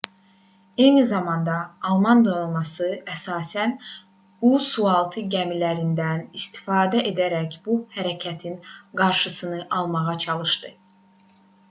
eyni zamanda alman donanması əsasən u sualtı gəmilərindən istifadə edərək bu hərəkətin qarşısını almağa çalışdı